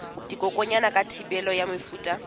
dikokwanyana ka thibelo ya mefuta